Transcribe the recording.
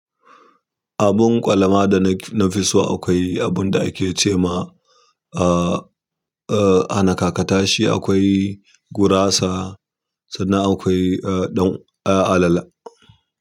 Abun kwalama da na fi so akwai abun da ake ce ma, uh, uh "hana kakata shi, akwai gurasa "sannan akwai alala.